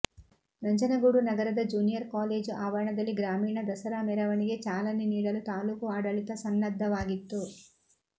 ನಂಜನಗೂಡು ನಗರದ junior college ಆವರಣದಲ್ಲಿ ಗ್ರಾಮೀಣ ದಸರಾ ಮೆರವಣಿಗೆ ಚಾಲನೆ ನೀಡಲು ತಾಲೂಕು ಆಡಳಿತ ಸನ್ನದ್ದವಾಗಿತ್ತು